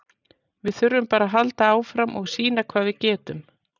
Við þurfum bara að halda áfram og sýna hvað við getum.